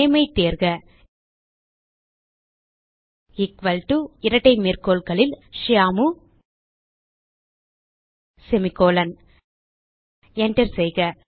nameஐ தேர்க equal to இரட்டை மேற்கோள்களில் ஷியாமு செமிகோலன் enter செய்க